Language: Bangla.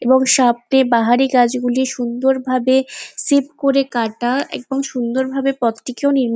এবং সব চেয়ে বাহারি গাছ গুলি সুন্দর ভাবে সিপ করে কাটা এবং সুন্দর ভাবে পথটিকেও নির্মাণ --